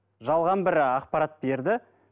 жалған бір ақпарат берді